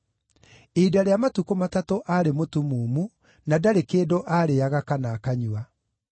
Ihinda rĩa matukũ matatũ aarĩ mũtumumu, na ndarĩ kĩndũ aarĩĩaga kana akanyua.